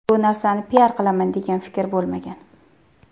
Bu narsani piar qilaman degan fikr bo‘lmagan.